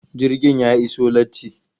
Jirgin ya iso latti